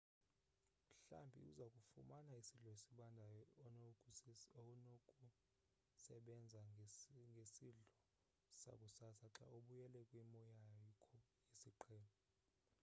mhlambi uzakufumana isidlo esibandayo onokusenza njengesidlo sakusasa xa ubuyele kwimo yakho yesiqhelo